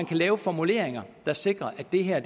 kan laves formuleringer der sikrer at det her